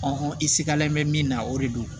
i sigalen bɛ min na o de don